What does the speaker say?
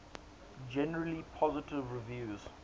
generally positive reviews